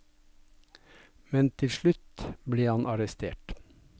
Men til slutt ble han arrestert.